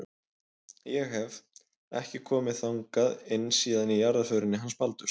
Ég hef. ekki komið þangað inn síðan í jarðarförinni hans Baldurs.